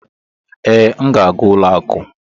ee, m ga-aga ụlọ akụ.